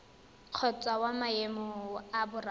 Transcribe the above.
kgotsa wa maemo a boraro